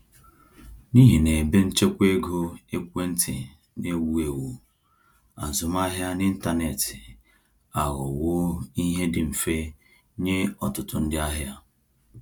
N’ihi na ebenchekwaego ekwentị na-ewu ewu, azụmahịa n’ịntanetị aghọwo ihe dị mfe nye ọtụtụ ndị ahịa.